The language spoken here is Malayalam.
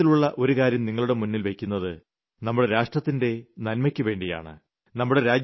ഞാൻ ഇത്തരത്തിലുള്ള ഒരു കാര്യം നിങ്ങളുടെ മുന്നിൽ വെയ്ക്കുന്നത് നമ്മുടെ രാഷ്ട്രത്തിന്റെ നന്മയ്ക്കുവേണ്ടിയാണ്